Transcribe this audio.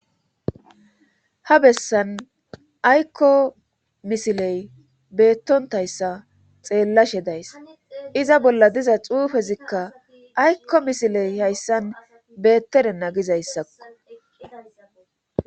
ha bessan aykko misiley beettontayssa xeellashe days iza bolla diza xuufezikka aykko misiley hayssan beettede na gizayssakko